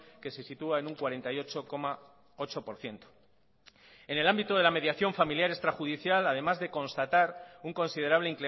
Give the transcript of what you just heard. que se sitúa en un cuarenta y ocho coma ocho por ciento en el ámbito de la mediación familiar extrajudicial además de constatar un considerable